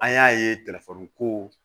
An y'a ye ko